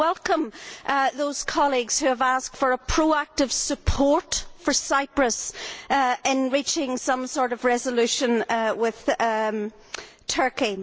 I welcome those colleagues who have asked for proactive support for Cyprus in reaching some sort of resolution with Turkey.